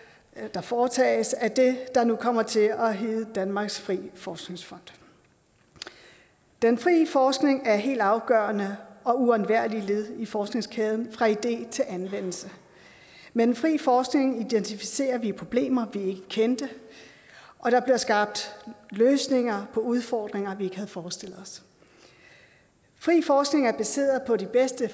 der foretages af det der nu kommer til at hedde danmarks frie forskningsfond den frie forskning er helt afgørende og et uundværligt led i forskningskæden fra idé til anvendelse med den frie forskning identificerer vi problemer vi ikke kendte og der bliver skabt løsninger på udfordringer vi ikke havde forestillet os fri forskning er baseret på de bedste